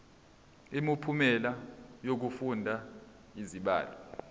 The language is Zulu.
imiphumela yokufunda izibalo